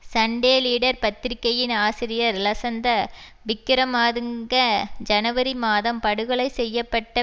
Sunday leader பத்திரிகையின் ஆசிரியர் லசந்த விக்கிரமாதுங்க ஜனவரி மாதம் படுகொலை செய்ய பட்ட